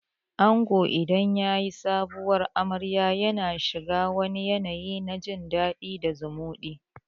Ango idan zai yi Sabuwar amarya yana shiga wani yanayi na jin dadi da zumuɗi